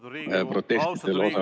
Või kas protestidel osalejad ...